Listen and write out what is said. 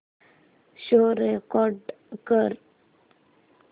show record कर